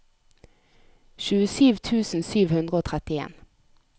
tjuesju tusen sju hundre og trettien